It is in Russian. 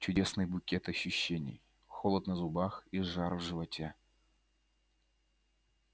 чудесный букет ощущений холод на зубах и жар в животе